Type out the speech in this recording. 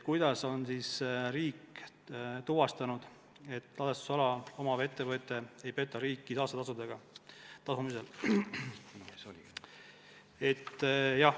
"Kuidas on riik tuvastanud, et ladestusala omavad ettevõtted ei peta riiki saastetasude tasumisel?